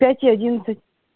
пять и одиннадцать